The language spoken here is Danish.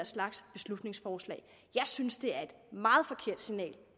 slags beslutningsforslag jeg synes det er et meget forkert signal